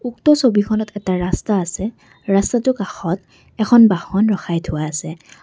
উক্ত ছবিখনত এটা ৰাস্তা আছে ৰাস্তাটো কাষত এখন বাহন ৰখাই থোৱা আছে।